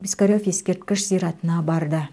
пискарев ескерткіш зиратына барды